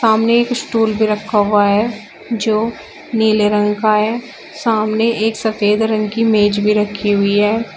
सामने एक स्टूल भी रखा हुआ है जो नीले रंग का है सामने एक सफेद रंग की मेज भी रखी हुई है।